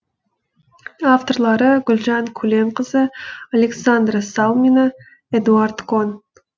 авторлары гүлжан көленқызы александра салмина эдуард кон